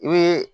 I be